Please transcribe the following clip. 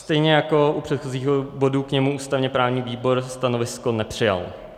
Stejně jako u předchozího bodu k němu ústavně-právní výbor stanovisko nepřijal.